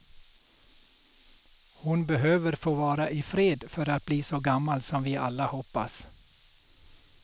Hon behöver få vara i fred för att bli så gammal som vi alla hoppas.